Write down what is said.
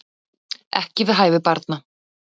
Ekki við hæfi barna